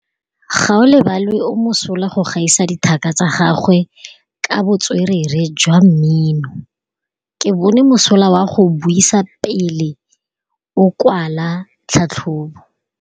Gaolebalwe o mosola go gaisa dithaka tsa gagwe ka botswerere jwa mmino. Ke bone mosola wa go buisa pele o kwala tlhatlhobô.